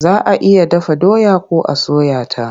Za a iya dafa doya ko a soya ta.